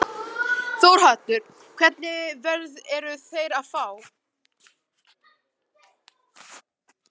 Þórhallur: Hvernig verð eru þeir að fá?